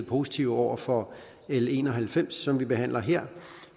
positive over for l en og halvfems som vi behandler her